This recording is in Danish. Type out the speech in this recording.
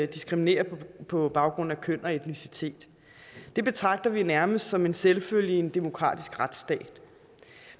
diskriminere på baggrund af køn og etnicitet det betragter vi nærmest som en selvfølge i en demokratisk retsstat